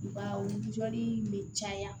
Wa jɔnni bɛ caya